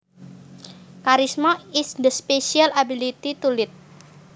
Charisma is the special ability to lead